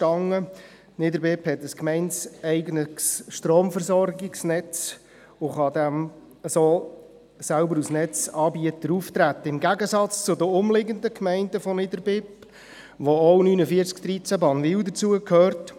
Niederbipp hat ein gemeindeeigenes Stromversorgungsnetz und kann so selbst als Netzanbieter auftreten, im Gegensatz zu den umliegenden Gemeinden von Niederbipp, wozu auch 4913 Bannwil gehört.